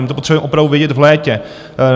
My to potřebujeme opravdu vědět v létě.